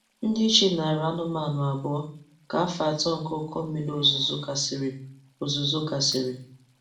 Ndị chi nara anụmanụ abụọ ka afọ atọ nke ụkọ mmiri ozuzo gasịrị. ozuzo gasịrị.